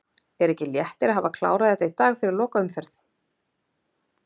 Er ekki léttir að hafa klárað þetta í dag fyrir lokaumferð?